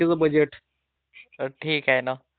हो. जाऊन पहायचं का थोडं बँक मध्ये?